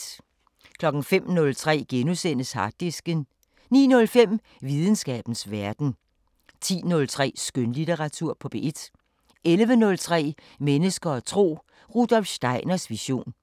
05:03: Harddisken * 09:05: Videnskabens Verden 10:03: Skønlitteratur på P1 11:03: Mennesker og tro: Rudolf Steiners vision